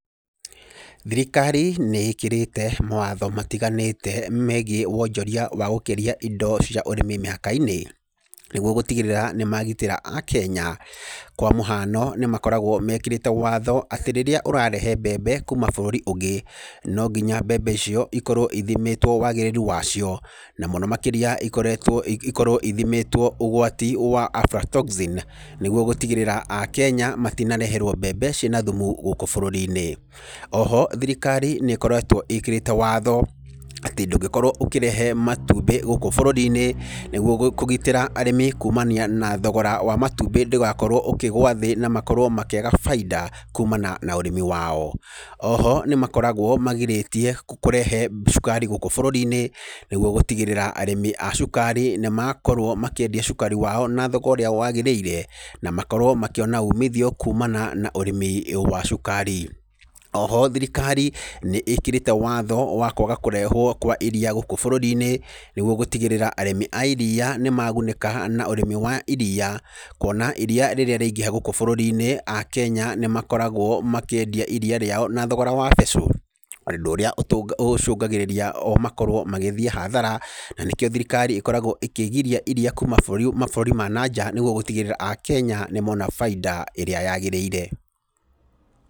Thirikaari nĩ ĩkĩrĩte mawatho matiganĩte megiĩ wonjoria wa gũkĩria indo cia ũrĩmi mĩhaka-inĩ. Niguo gũtigĩrĩra nĩ magitĩra A-Kenya. Kwa mũhiano, nĩmakoragwo mekĩrĩte watho atĩ rĩrĩa ũrarehe mbembe kuuma bũrũri ũngĩ, no nginya mbembe icio ikorwo ithimĩtwo wagĩrĩru wacio. Na mũno makĩrĩa ikoretwo, ikorwo ithimĩtwo ũgwati wa Aflatoxin, nĩguo gũtigĩrĩra A-Kenya matinareherwo mbembe cina thumu gũkũ bũrũri-inĩ. O ho thirikari nĩkoretwo ĩkĩrĩte watho atĩ ndũngĩkorwo ũkĩrehe matumbĩ gũkũ bũrũri-inĩ, nĩguo kũgitĩra arĩmi kuumania na thogora wa matumbĩ ndũgakorwo ũkĩgwa thĩ na makorwo makĩaga baita kuumana na ũrĩmi wao. O ho nĩmakoragwo magirĩtie kũrehe cukari gũkũ bũrũri-inĩ, nĩguo gũtigĩrĩra arĩmĩ a cukari nĩmakorwo makĩendia cukari wao na thogo ũrĩa wagĩrĩire. Na makorwo makĩona umithio kuumana na ũrĩmĩ wa cukari. O ho thirikari nĩ ĩkĩrĩte watho wa kũaga kũrehwo kwa iria gũkũ bũrũri-inĩ nĩguo gũtigĩrĩra arĩmĩ a iria nĩmagunĩka na ũrĩmi wa iria. Kuona iria rĩrĩa rĩaingĩha gũku bũrũri-inĩ A-Kenya nĩmakoragwo makĩendia iria rĩao na thogora wa becũ, ũndũ ũrĩa ũcũngagĩrĩria o makorwo magĩthĩi hathara. Na nĩkĩo thirikari ĩkoragwo ĩkĩgiria iria kuuma bũrũri, mabũrũri ma nanja nĩguo gũtigĩrĩra A-Kenya nĩmona baita iria yagĩrĩire.